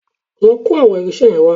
Lọ kó àwọn irinṣẹ́ yẹn wá